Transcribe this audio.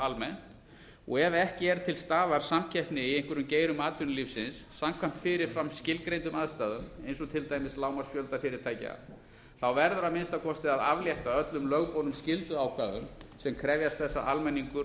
almennt og ef ekki er til staðar samkeppni í einhverjum geirum atvinnulífsins samkvæmt fyrirframskilgreindum aðstæðum eins og til dæmis lágmarksfjölda fyrirtækja verður að minnsta kosti að aflétta öllum lögboðnum skylduákvæðum sem krefjast þess að almenningur